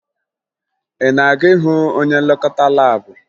Ị na-aga ịhụ onye nlekọta laabụ?